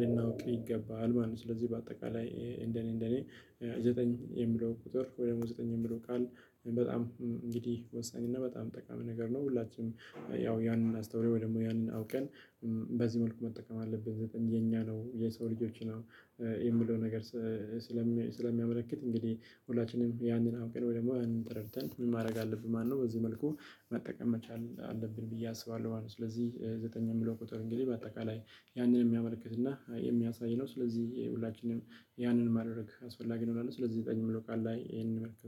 ልናውቅ ይገባል ማለት ነው። ስለዚህ በአጠቃላይ እንደኔ እንደኔ ዘጠኝ የሚለው ቁጥር ወይ ደግሞ ዘጠኝ የሚለው ቃል በጣም እንግዲህ ወሳኝ እና በጣም ጠቃሚ ነገር ነው። ሁላችንም ያው ያንን አስተውለን ወይ ደግሞ ያንን አውቀን በዚህ መልኩ መጠቀም አለብን ዘጠኝ የኛ ነው የሰው ልጆች ነው። የምለው ነገር ስለሚያመለክት እንግዲህ ሁላችንም ያንን አውቀን ወይ ደግሞ ያንን ተረድትን ምን ማድረግ አለብን? ማነው በዚህ መልኩ መጠቀም መቻል አለብን ብዬ አስባለሁ ማለት ነው። ስለዚህ ዘጠኝ የሚለው ቁጥር እንግዲህ በአጠቃላይ ያንን የሚያመለክትና የሚያሳይ ነው። ስለዚህ የሁላችንም ያንን ማድረግ አስፈላጊ ነው እላለሁ። ስለዚህ ዘጠኝ ምለው ቃል ላይ ይሄንን መልኩ